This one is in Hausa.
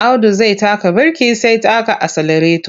Audu zai taka birki sai taka aselareto.